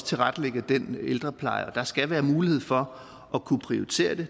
tilrettelægger den ældrepleje og der skal være en mulighed for at kunne prioritere det